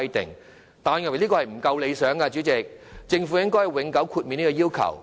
不過，我認為這樣做仍不夠理想，政府應永久豁免這項要求。